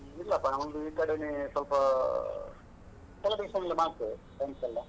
ಇಲ್ಲಪ್ಪ ನಾವೊಂದು ಈಕಡೆನೆ ಸ್ವಲ್ಪಾ celebration ಎಲ್ಲ ಮಾಡ್ತೇವೆ friends ಎಲ್ಲ.